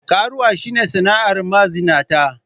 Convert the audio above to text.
Karuwanci shi ne sana'ar mazinata.